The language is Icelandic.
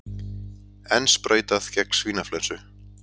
Enn sprautað gegn svínaflensu